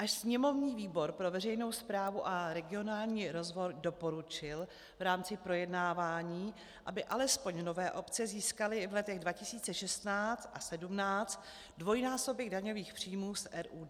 Až sněmovní výbor pro veřejnou správu a regionální rozvoj doporučil v rámci projednávání, aby alespoň nové obce získaly v letech 2016 a 2017 dvojnásobek daňových příjmů z RUD.